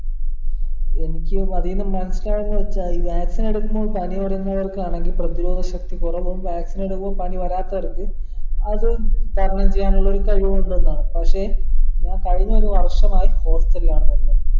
എനിക്ക് അതിന്ന് മനസ്സിലായത് വെച്ചാൽ ഈ vaccine എടുക്കുമ്പോ പനി വരുന്നവർക്കാണെങ്കിൽ പ്രതിരോധ ശക്തി കുറവും vaccine എടുക്കുമ്പോ പനി വരാത്തവർക്ക് അത് തരണം ചെയ്യാനുള്ള ഒരു കഴിവുണ്ട്ന്നാണ് പക്ഷെ ഞാൻ കഴിഞ്ഞ ഒരു വർഷമായി hostel ആണ് നിന്നത്